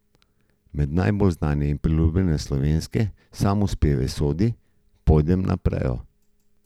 Med najbolj znane in priljubljene slovenske samospeve sodi Pojdem na prejo.